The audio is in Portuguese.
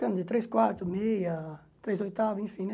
Cano de ttrês quartos, meia, três oitavos, enfim, né?